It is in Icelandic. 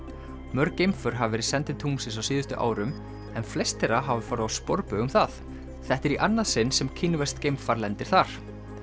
mörg geimför hafa verið send til tunglsins á síðustu árum en flest þeirra hafa farið á sporbaug um það þetta er í annað sinn sem kínverskt geimfar lendir þar